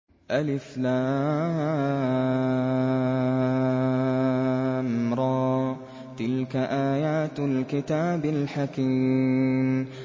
الر ۚ تِلْكَ آيَاتُ الْكِتَابِ الْحَكِيمِ